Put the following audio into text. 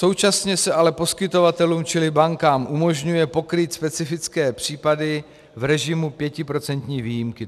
Současně se ale poskytovatelům, čili bankám, umožňuje pokrýt specifické případy v režimu 5% výjimky.